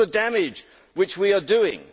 This is the damage that we are doing.